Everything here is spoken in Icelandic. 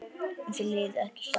En þau liðu ekki hjá.